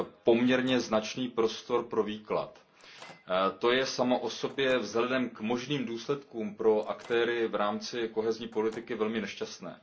poměrně značný prostor pro výklad. To je samo o sobě vzhledem k možným důsledkům pro aktéry v rámci politiky soudržnosti velmi nešťastné.